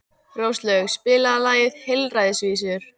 Róslaug, spilaðu lagið „Heilræðavísur“.